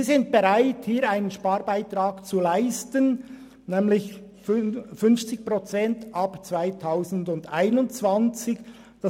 Diese Schulen sind bereit, einen Sparbeitrag zu leisten, nämlich 50 Prozent ab 2021.